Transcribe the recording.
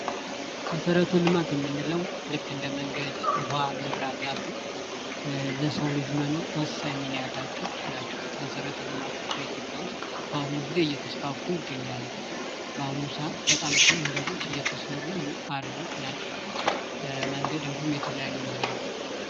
መሰረተ ልማት የምንለው ልክ እንደ መንገድ፣ ውሀ ፣መብራት ያሉ ለሰው ልጅ መኖር ወሳኝ ሚና ያላቸው ናቸው። መሰረተ ልማቶች በኢትዮጵያ ውስጥ በአሁኑ ጊዜ እየተስፋፉ ይገኛሉ። በአሁኑ ሰዓት በጣም ብዙ መንገዶች እየተሰሩ ናቸው ።መንገድ እንዲሁም የተለያዩ ነገሮች።